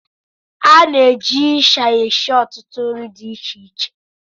Ana-eji ịsha esi ọtụtụ nri di iche iche